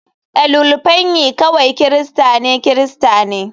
Ililufenyi kawai Kirista ne Kirista ne.